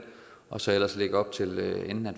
og så ellers lægge op til at